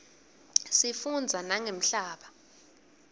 sifundza nangemhlaba